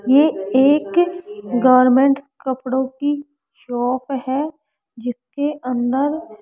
ये एक गारमेंट्स कपड़ों की शॉप है जिसके अंदर --